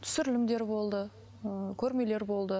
түсірілімдер болды ыыы көрмелер болды